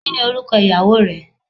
Kini oruko iyawo re